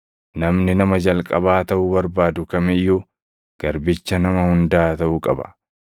namni nama jalqabaa taʼuu barbaadu kam iyyuu garbicha nama hundaa taʼuu qaba.